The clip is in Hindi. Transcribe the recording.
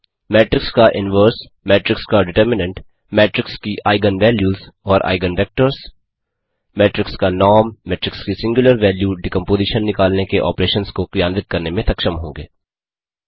मेट्रिक्स का इनवर्स मेट्रिक्स का डिटरमिनंट मेट्रिक्स की आइगन वैल्यूज़ और आइगन वेक्टर्स मेट्रिक्स का नॉर्म मेट्रिक्स की सिंग्युलर वैल्यू डिकम्पोज़ीशन निकालने के ऑपरेशंस को क्रियान्वित करने में सक्षम होंगे